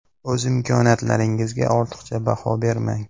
O‘z imkoniyatlaringizga ortiqcha baho bermang.